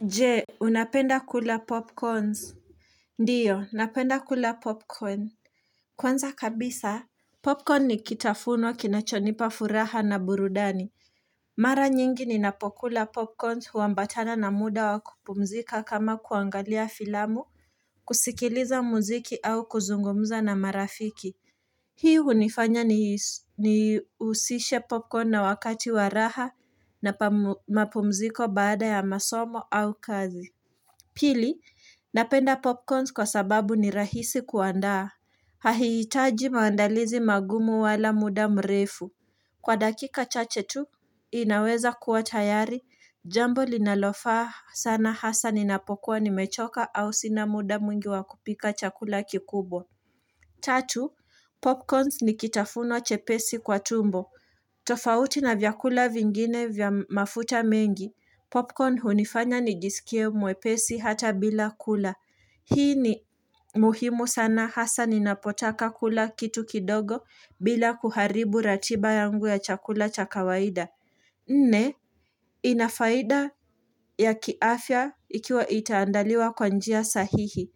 Je unapenda kula popcorns ndiyo napenda kula popcorn kwanza kabisa popcorn ni kitafunwa kinachonipa furaha na burudani mara nyingi ni napokula popcorn huambatana na muda wakupumzika kama kuangalia filamu kusikiliza muziki au kuzungumza na marafiki hii unifanya niusishe popcorn na wakati waraha na mapumziko baada ya masomo au kazi Pili, napenda popcorns kwa sababu ni rahisi kuandaa. Hahitaji maandalizi magumu wala muda mrefu. Kwa dakika chache tu, inaweza kuwa tayari. Jambo linalofaa sana hasa ninapokuwa ni mechoka au sina muda mwingi wakupika chakula kikubwa. Tatu, popcorns nikitafuno chepesi kwa tumbo. Tofauti na vyakula vingine vya mafuta mengi. Popcorn hunifanya nijisikie mwepesi hata bila kula. Hii ni muhimu sana hasa ninapotaka kula kitu kidogo bila kuharibu ratiba yangu ya chakula chakawaida. Ne, inafaida ya kiafya ikiwa itaandaliwa kwa njia sahihi.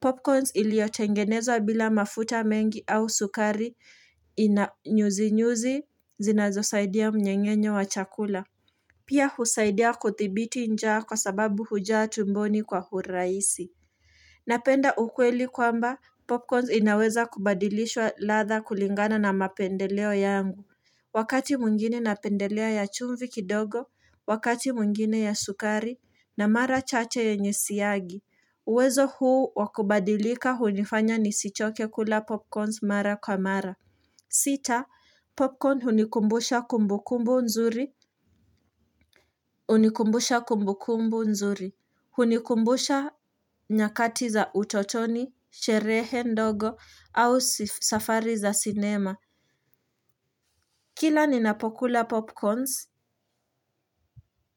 Popcorns iliotengenezwa bila mafuta mengi au sukari ina inyuzi nyuzi zinazosaidia mnyengenyo wa chakula. Pia husaidia kuthibiti njaa kwa sababu hujaa tumboni kwa huraisi. Napenda ukweli kwamba popcorns inaweza kubadilishwa latha kulingana na mapendeleo yangu. Wakati mwingine napendelea ya chumvi kidogo, wakati mwingine ya sukari na mara chache yenye siagi. Uwezo huu wakubadilika hunifanya nisichoke kula popcorns mara kwa mara. Sita popcorn hunikumbusha kumbukumbu nzuri hunikumbusha kumbukumbu nzuri hunikumbusha nyakati za utotoni sherehe ndogo au safari za cinema kila ninapokula popcorns.